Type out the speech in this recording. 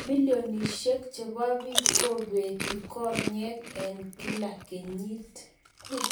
Milionishiek cheboo biik koobeti konyeek eng kila kenyit